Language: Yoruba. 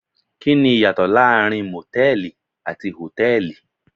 Kí ni ìyàtọ̀ láàrin Mòtẹ́lìì àti Hòtẹ́lìì.